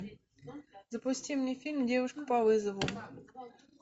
запусти мне фильм девушка по вызову